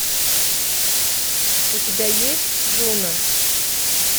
у тебя есть джуна